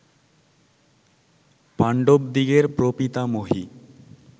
পাণ্ডবদিগের প্রপিতামহী